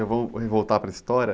Eu vou, re, voltar para a história.